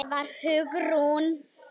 Það var Hugrún!